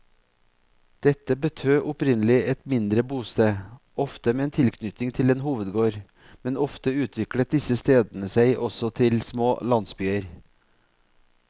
Dette betød opprinnelig et mindre bosted, ofte med tilknytning til en hovedgård, men ofte utviklet disse stedene seg også til små landsbyer.